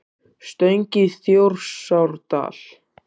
Stöng í Þjórsárdal.